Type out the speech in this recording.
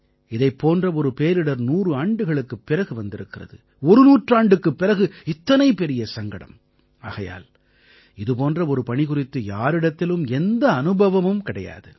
இதைப் போன்ற ஒரு பேரிடர் 100 ஆண்டுகளுக்குப் பிறகு வந்திருக்கிறது ஒரு நூற்றாண்டுக்குப் பிறகு இத்தனை பெரிய சங்கடம் ஆகையால் இது போன்ற ஒரு பணி குறித்து யாரிடத்திலும் எந்த அனுபவமும் கிடையாது